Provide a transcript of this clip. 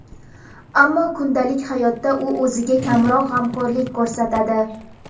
Ammo kundalik hayotda u o‘ziga kamroq g‘amxo‘rlik ko‘rsatadi.